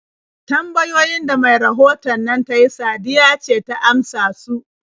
Tambayoyin da mai rahoton nan ta yi Sadiya ce ta amsa su.